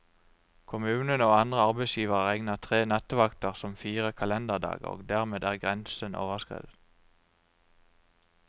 Kommunen og andre arbeidsgivere regner tre nattevakter som fire kalenderdager, og dermed er grensen overskredet.